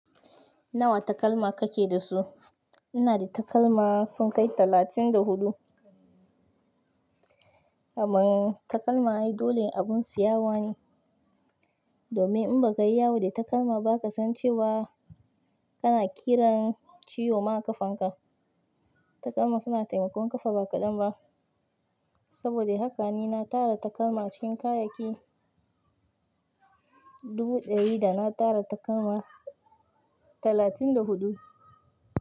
Nawa takalma kake da su? Ina da takalma sun kai talatin da huɗu. Kaman takalma ai dole abun siyawane domin in ba ka yi yawo da takalma, ba ka san cewa kana kiran ciwo ma ƙafanka. Takalma suna taimakon ƙafa ba ƙaɗan ba. Saboda haka ni na tara takalma cikin kayayyaki dubu ɗari, da na tara takalma talatin da huɗu.